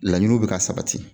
Laɲiniw bɛ ka sabati